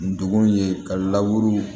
Ndugun ye ka la